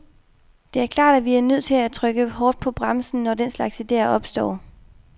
Det er klart, at vi er nødt til at trykke hårdt på bremsen, når den slags idéer opstår.